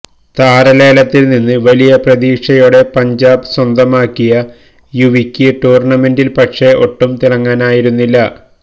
താരലേലത്തിൽ നിന്ന് വലിയ പ്രതീക്ഷയോടെ പഞ്ചാബ് സ്വന്തമാക്കിയ യുവിക്ക് ടൂർണമെന്റിൽ പക്ഷെ ഒട്ടും തിളങ്ങാനായിരുന്നില്ല